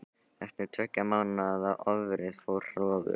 Eftir tveggja mánaða ófrið fór hróður